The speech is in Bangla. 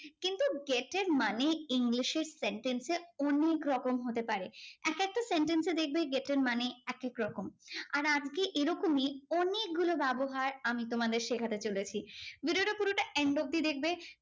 তো get এর মানে ইংলিশের sentence এ অনেক রকম হতে পারে। একেকটা sentence এ দেখবে get এর মানে একেকরকম। আর আজকে এরকমই অনেকগুলো ব্যবহার আমি তোমাদের শেখাতে চলেছি। video টা পুরোটা end অব্দি দেখবে।